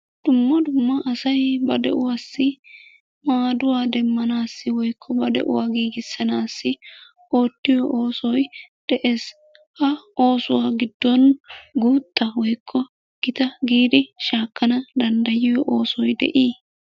Dumma dumma asay ba de'uwassi maadduwa demmnanssi woykko ba de'uwaa giigissanassi oottiyo oosoy de'ees. Ha oosuwa giddon guutta woykko gita giidi shakkana danddayiyo oosoy de"i?